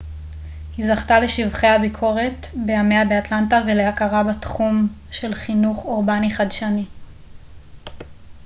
היא זכתה לשבחי הביקורת בימיה באטלנטה ולהכרה בתחום של חינוך אורבני חדשני